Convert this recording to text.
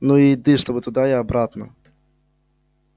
ну и еды чтоб туда и обратно